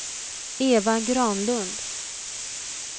Eva Granlund